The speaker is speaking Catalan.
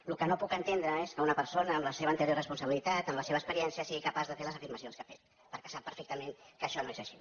el que no puc entendre és que una persona amb la seva anterior responsabilitat amb la seva experiència sigui capaç de fer les afirmacions que ha fet perquè sap perfectament que això no és així